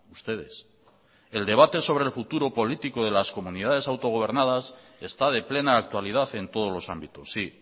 ustedes el debate sobre el futuro político de las comunidades autogobernadas está de plena actualidad en todos los ámbitos sí